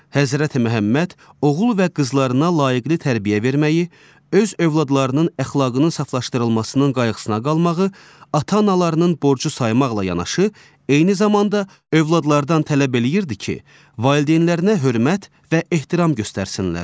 Həzrəti Məhəmməd oğul və qızlarına layiqli tərbiyə verməyi, öz övladlarının əxlaqının saflaşdırılmasının qayğısına qalmağı, ata-analarının borcu saymaqla yanaşı, eyni zamanda övladlardan tələb eləyirdi ki, valideynlərinə hörmət və ehtiram göstəsinlər.